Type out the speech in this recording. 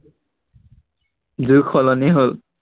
যুগ সলনি হল